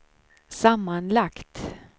sammanlagt